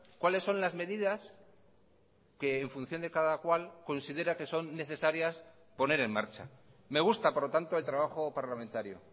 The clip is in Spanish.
cuáles son las medidas que en función de cada cual considera que son necesarias poner en marcha me gusta por lo tanto el trabajo parlamentario